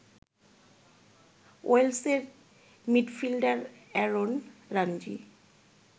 ওয়েলসের midfielder Aaron Ramji